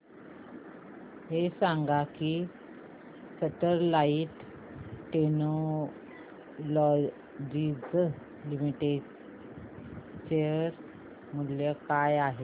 हे सांगा की स्टरलाइट टेक्नोलॉजीज लिमिटेड चे शेअर मूल्य काय आहे